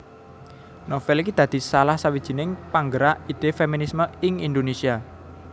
Novél iki dadi salah sawijining panggerak ide feminisme ing Indonesia